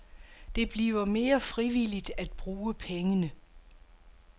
Det bliver mere frivilligt at bruge pengene.